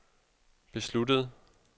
besluttede